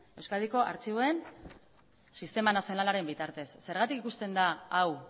euskadiko artxiboen sistema nazionalaren bitartez zergatik ikusten da hau